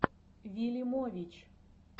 вилимович